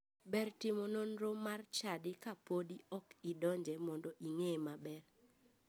Ber timo nonro mar chadi kapodi ok idonje mondo ing'eye maber.